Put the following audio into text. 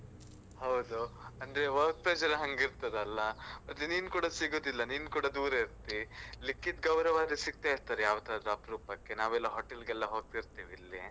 ಹೌದು, ಅಂದ್ರೆ work pressure ಹಂಗಿರ್ತದಲ್ಲ, ಮತ್ತೆ ನೀನ್ ಕೂಡ ಸಿಗುದಿಲ್ಲ ನೀನ್ ಕೂಡ ದೂರ ಇರ್ತಿ. ಲಿಖಿತ್, ಗೌರವ್ ಆದ್ರೆ ಸಿಕ್ತಾ ಇರ್ತಾರೆ ಯಾವತ್ತಾದ್ರು ಅಪ್ರೂಪಕ್ಕೆ ನಾವೆಲ್ಲ hotel ಗೆಲ್ಲ ಹೋಗ್ತಿರ್ತೀವಿ ಇಲ್ಲಿ.